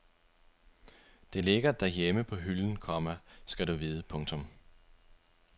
Det ligger derhjemme på hylden, komma skal du vide. punktum